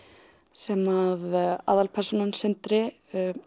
sem aðalpersónan hann Sindri